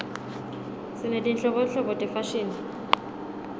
sinetinhlobonhlobo tefashini